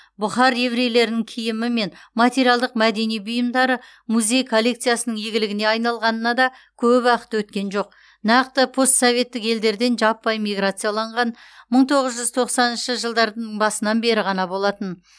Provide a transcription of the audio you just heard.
бұхар еврейлерінің киімі мен материалдық мәдени бұйымдары музей коллекциясының игілігіне айналғанына да көп уақыт өткен жоқ нақты постсоветтік елдерден жаппай миграциялаған мың тоғыз жүз тоқсаныншы жылдар басынан бері ғана болатын